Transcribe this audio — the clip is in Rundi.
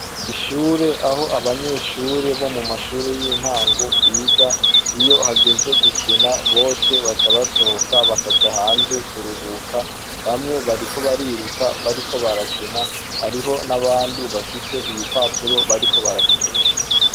Ishure ah'abanyeshure bo mu mashure y'intangobiga, iyo hageze gukina bose baca basohoka hanze kuruhuka. bamwe bariko bariruka bariko barakina, hariho n'abandi bafise ibipapuro bariko barakinisha.